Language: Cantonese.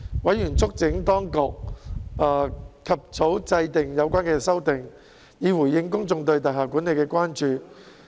委員促請當局及早制定有關的修訂，以回應公眾對大廈管理的關注。